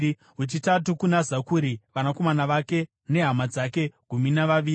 wechitatu kuna Zakuri, vanakomana vake nehama dzake—gumi navaviri;